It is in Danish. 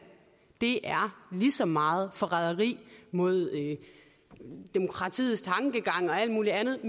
det er lige så meget forræderi mod demokratiets tankegang og alt muligt andet